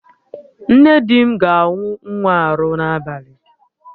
Nne di m ga-awụ nwa arụ n'abalị